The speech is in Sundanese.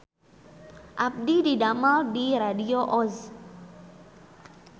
Abdi didamel di Radio Oz